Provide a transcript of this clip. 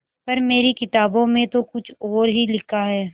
पर मेरी किताबों में तो कुछ और ही लिखा है